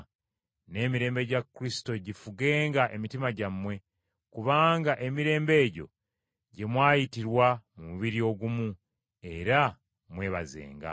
N’emirembe gya Kristo gifugenga emitima gyammwe, kubanga emirembe egyo gye mwayitirwa mu mubiri ogumu; era mwebazenga.